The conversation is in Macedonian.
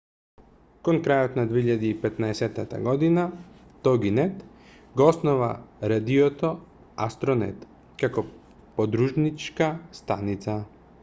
кон крајот на 2015 година тогинет го основа радиото астронет како подружничка станица